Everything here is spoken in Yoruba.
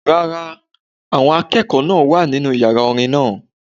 Rárá, àwọn akẹ́kọ̀ọ́ náà wà nínu yàrá orin náà